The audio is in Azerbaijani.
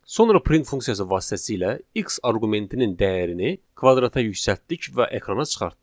Sonra print funksiyası vasitəsilə x arqumentinin dəyərini kvadrata yüksəltdik və ekrana çıxartdıq.